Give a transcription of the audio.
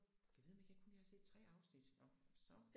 Gad vide om ikke jeg kun jeg har set tre afsnit nå så